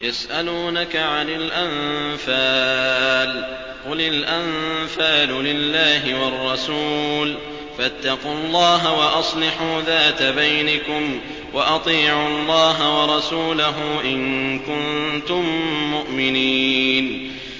يَسْأَلُونَكَ عَنِ الْأَنفَالِ ۖ قُلِ الْأَنفَالُ لِلَّهِ وَالرَّسُولِ ۖ فَاتَّقُوا اللَّهَ وَأَصْلِحُوا ذَاتَ بَيْنِكُمْ ۖ وَأَطِيعُوا اللَّهَ وَرَسُولَهُ إِن كُنتُم مُّؤْمِنِينَ